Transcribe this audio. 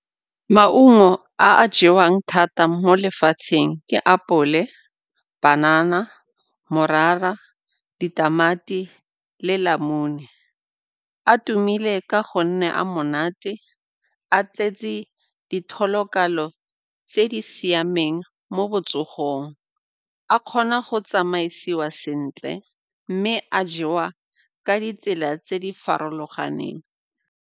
Maungo a a jewang thata mo lefatsheng ke apole, banana, morara, ditamati le namune. A tumile ka gonne a monate, a tletse di tse di siameng mo botsogong, a kgona go tsamaisiwa sentle mme a jewa ka ditsela tse di farologaneng.